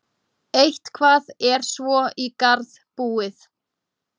Eitthvað er svo í garð búið